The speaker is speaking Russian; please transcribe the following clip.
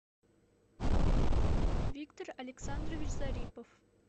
виктор александрович зарипов